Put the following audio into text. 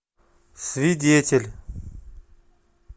свидетель